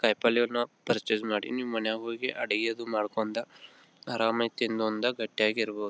ಕಾಯಿಪಲ್ಯವನ್ನು purchase ಮಾಡಿ ನೀವು ಅಡುಗೆ ಮಾಡ್ಕೊಂಡ್ ಆರಂ ಆಗಿ ತಿಂದು ಉಂಡು ಗಟ್ಟಿಯಾಗಿ ಇರಬಹುದು.